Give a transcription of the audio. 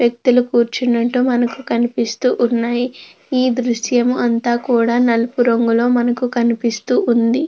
వ్యక్తులు కూర్చున్నట్టు మనకు కనిపిస్తూ ఉన్నాయీ. ఈ దృశ్యము అంతా కూడా నలుపు రంగులో మనకు కనిపిస్తూ ఉంది.